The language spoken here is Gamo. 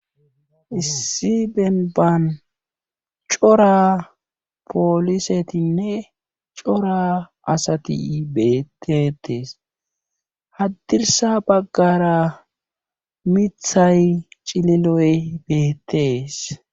issi benbaan cora poolisetinne cora asati beettetees haddirsa baggara mithay cileloy beettees